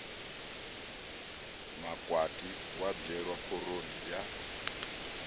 makwati wa bwelwa khoroni ya